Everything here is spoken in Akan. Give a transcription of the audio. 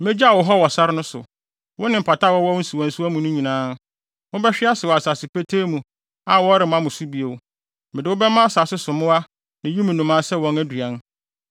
Megyaw wo hɔ wɔ sare no so, wo ne mpataa a wɔwɔ wo nsuwansuwa mu no nyinaa. Mobɛhwe ase wɔ asase petee mu a wɔremma mo so bio. Mede wo bɛma asase so mmoa ne wim nnomaa sɛ wɔn aduan.